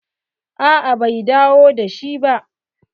A'a bai dawo da shi ba.